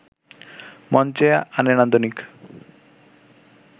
মঞ্চে আনে নান্দনিক